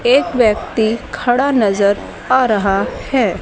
एक व्यक्ति खड़ा नजर आ रहा है।